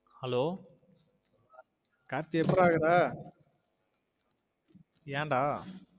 Hello Karthi எப்புட்ரா இருக்குற என் டா?